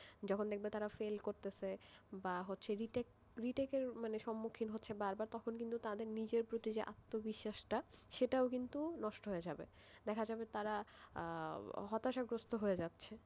যখন দেখবে তারা fail করতেছে বা retake retake এর সম্মুখীন হচ্ছে বারবার তখন তাদের নিজেদের প্রতি যে আত্মবিশ্বাস, সেটাও কিন্তু নষ্ট হয়ে যাবেদেখা যাবে তারা হতাশাগ্রস্ত হয়ে যাচ্ছে,